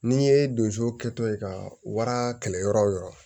N'i ye donso kɛtɔ ye ka wara kɛlɛ yɔrɔ o yɔrɔ